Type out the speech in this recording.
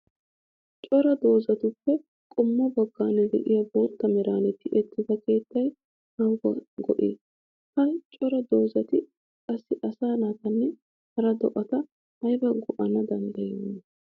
Coraa dozattuppe qommo bagan de'iyaa bootta meran tiyettida keettay aybbawu go'ii? Ha cora doozatti qassi asaa naatanne hara do'atta ayba go'ana danddayiyyona?